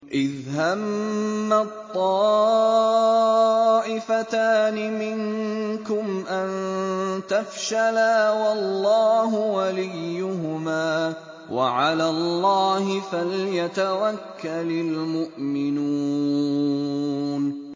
إِذْ هَمَّت طَّائِفَتَانِ مِنكُمْ أَن تَفْشَلَا وَاللَّهُ وَلِيُّهُمَا ۗ وَعَلَى اللَّهِ فَلْيَتَوَكَّلِ الْمُؤْمِنُونَ